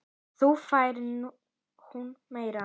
Þá fær hún meira.